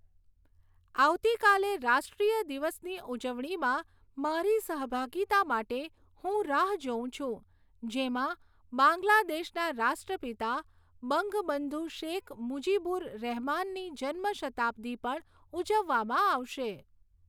આવતીકાલે રાષ્ટ્રીય દિવસની ઉજવણીમાં મારી સહભાગિતા માટે હું રાહ જોઉં છુ જેમાં બાંગ્લાદેશના રાષ્ટ્રપિતા બંગબંધુ શેખ મુજિબુર રહેમાનની જન્મ શતાબ્દી પણ ઉજવવામાં આવશે.